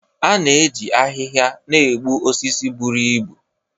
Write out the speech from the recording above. A na-eji ahịhịa na-egbu osisi buru ibu